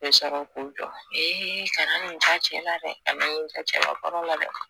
Be sɔrɔ k'o jɔ ee kana nin ja cɛ la dɛ ka na nin ja cɛbakɔrɔ la dɛ